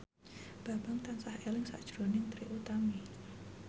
Bambang tansah eling sakjroning Trie Utami